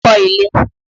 Kọ́ ilé!